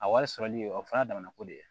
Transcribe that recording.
A wari sɔrɔli o fana damana ko de ye